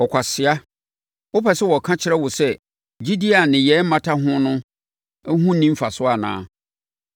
Ɔkwasea! Wopɛ sɛ wɔka kyerɛ wo sɛ gyidie a nneyɛeɛ mmata ho no ho nni mfasoɔ anaa?